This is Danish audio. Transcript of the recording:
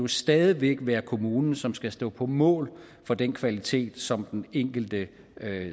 stadig væk være kommunen som skal stå på mål for den kvalitet som den enkelte